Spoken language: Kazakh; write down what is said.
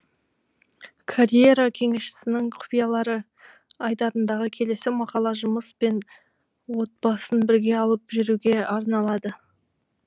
карьера кеңесшісінің құпиялары айдарындағы келесі мақала жұмыс пен отбасын бірге алып жүруге арналады